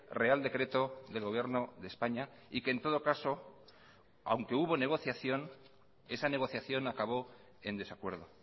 real decreto del gobierno de españa y que en todo caso aunque hubo negociación esa negociación acabó en desacuerdo